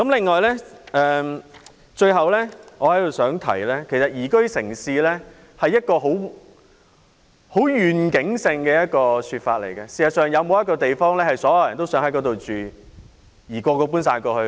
我最後想說，宜居城市是一個很有願景的說法，事實上，究竟有沒有一個地方是所有人也想搬往居住的呢？